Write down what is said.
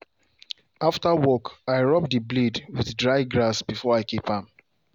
after work i rub the blade with dry grass before i keep am